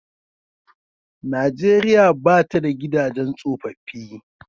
Nijeriya ba ta da gidajen tsofaffi.